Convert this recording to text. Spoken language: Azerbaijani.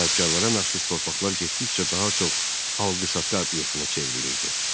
Sahibkarlara məxsus torpaqlar getdikcə daha çox alqı-satqı obyektinə çevrilirdi.